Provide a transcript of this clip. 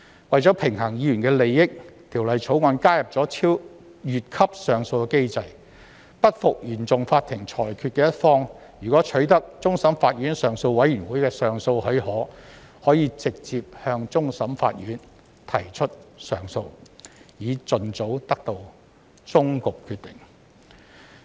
為平衡議員的利益，《條例草案》加入"越級上訴機制"，不服原訟法庭裁決的一方，如取得終審法院上訴委員會的上訴許可，可直接向終審法院提出上訴，以盡早得到終局決定。